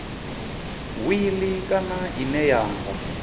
wili kana ine ya nga